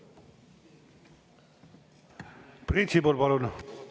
Priit Sibul, palun!